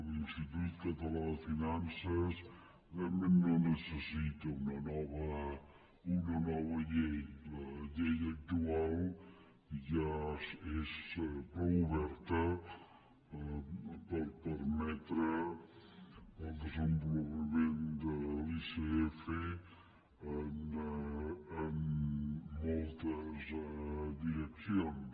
l’institut català de finances realment no necessita una nova llei la llei actual ja és prou oberta per permetre el desenvolupament de l’icf en moltes direc cions